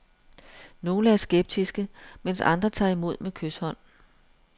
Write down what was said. Nogle er skeptiske, mens andre tager imod med kyshånd.